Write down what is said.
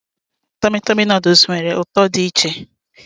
Tọmị Tọmị nuduls nwere ụtọ dị iche.